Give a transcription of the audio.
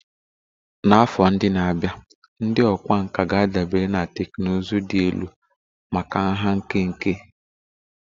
Na afọ ndị na-abịa, ndị ọkwa ọkwa ga-adabere na teknụzụ dị elu maka nha nkenke